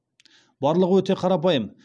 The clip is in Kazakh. барлығы өте қарапайым